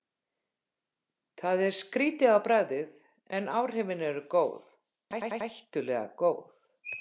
Það er skrýtið á bragðið, en áhrifin eru góð, hættulega góð.